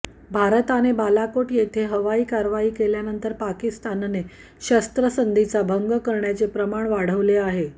भारताने बालाकोट येथे हवाई कारवाई केल्यानंतर पाकिस्तानने शस्त्रसंधीचा भंग करण्याचे प्रमाण वाढवले आहे